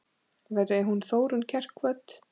Veri hún Þórunn kært kvödd.